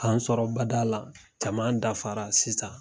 K'an sɔrɔ bada la jama dafara sisan.